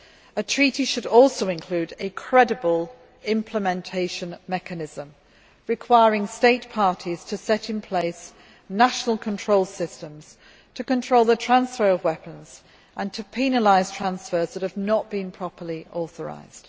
A treaty should also include a credible implementation mechanism, requiring State parties to put in place national control systems to control the transfer of weapons and to penalise transfers that have not been properly authorised.